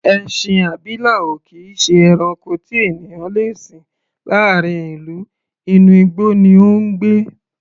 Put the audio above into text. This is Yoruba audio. Ẹṣin abilà ò kì í ṣe ẹranko tí ènìyàn le sìn láàárín ìlú, inú igbó ni ó ń gbé.